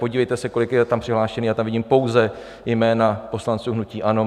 Podívejte se, kolik je tam přihlášených, já tam vidím pouze jména poslanců hnutí ANO.